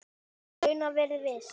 Raunar verið viss.